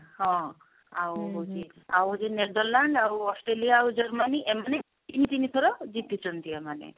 ହଁ ଆଉ ହଉଛି ଆଉ ହଉଛି ନେଦରଲ୍ୟାଣ୍ଡ ଆଉ ଅଷ୍ଟ୍ରେଲିଆ ଆଉ ଜର୍ମାନୀ ଏମାନେ ତିନି ତିନି ଥର ଜିତିଛନ୍ତି ଏମାନେ